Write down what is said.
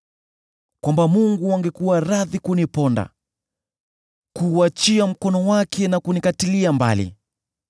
kwamba Mungu angekuwa radhi kuniponda, kuuachia mkono wake na kunikatilia mbali!